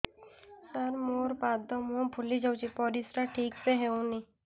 ସାର ମୋରୋ ପାଦ ମୁହଁ ଫୁଲିଯାଉଛି ପରିଶ୍ରା ଠିକ ସେ ହଉନି